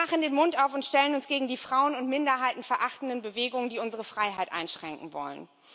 Wir machen den Mund auf und stellen uns gegen die frauen und minderheitenverachtenden Bewegungen, die unsere Freiheit einschränken wollen.